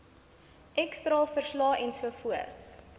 x straalverslae ensovoorts